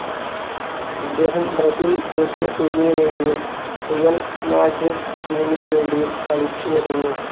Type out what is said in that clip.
ഇദ്ദേഹം ബ്രസീൽ ദേശീയ ടീമിനു വേണ്ടിയും റിയൽ മാഡ്രിഡ് ടീമിനു വേണ്ടിയും കളിച്ചു വരുന്നു.